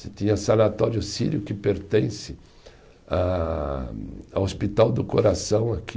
Se tinha sanatório sírio que pertence a, ao Hospital do Coração aqui